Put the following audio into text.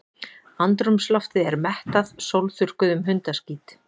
Andrúmsloftið er mettað sólþurrkuðum hundaskít.